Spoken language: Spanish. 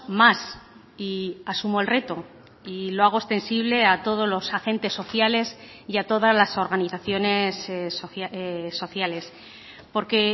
más y asumo el reto y lo hago extensible a todos los agentes sociales y a todas las organizaciones sociales porque